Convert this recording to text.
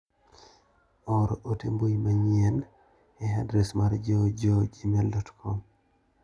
Or ote mbui manyuien e adres mar JoeJoe gmail.com